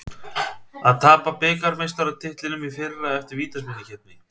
Að tapa bikarmeistaratitlinum í fyrra eftir vítaspyrnukeppni